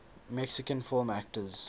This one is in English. mexican film actors